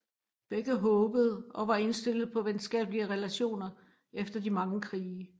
Begge håbede og var indstillet på venskabelige relationer efter de mange krige